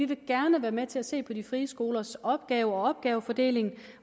de gerne vil være med til at se på de frie skolers opgaver og opgavefordeling